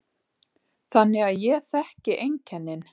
Þannig að ég þekki einkennin.